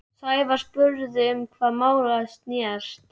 Sævar spurði um hvað málið snerist.